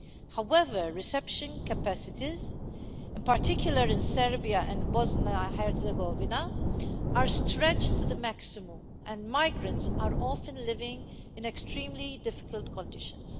However, reception capacities, in particular in Serbia and Bosnia and Herzegovina, are stretched to the maximum, and migrants are often living in extremely difficult conditions.